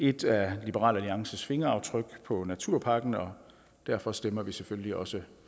et af liberal alliances fingeraftryk på naturpakken og derfor stemmer vi selvfølgelig også